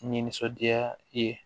Ni nisɔndiya i ye